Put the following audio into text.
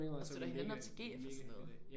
Og støtter hinanden op til GF og sådan noget